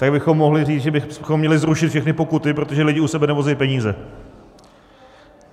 Tak bychom mohli říct, že bychom měli zrušit všechny pokuty, protože lidi u sebe nevozí peníze.